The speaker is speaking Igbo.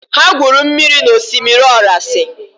Ha gwuru mmiri na osimiri orasi.